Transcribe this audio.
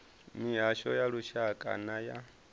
mihasho ya lushaka na ya